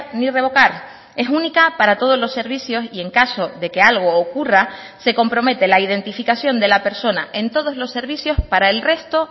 ni revocar es única para todos los servicios y en caso de que algo ocurra se compromete la identificación de la persona en todos los servicios para el resto